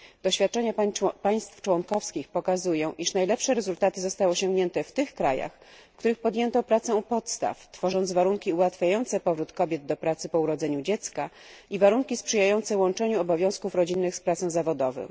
Doświadczenia państw członkowskich pokazują, iż najlepsze rezultaty zostały osiągnięte w tych krajach, w których podjęto pracę u podstaw, tworząc warunki ułatwiające powrót kobiet do pracy po urodzeniu dziecka i warunki sprzyjające łączeniu obowiązków rodzinnych z pracą zawodową.